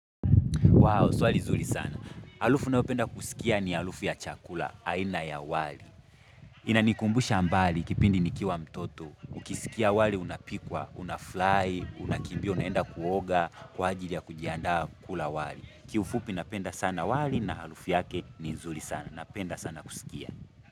Wow, swali nzuri sana. Arufu nayopenda kusikia ni arufu ya chakula, aina ya wali. Inanikumbusha mbali kipindi nikiwa mtoto. Ukisikia wali unapikwa, unafurahi, unakimbia, unaenda kuoga, kwa ajili ya kujiandaa kula wali. Kiufupi napenda sana wali na arufu yake ni nzuri sana. Napenda sana kusikia.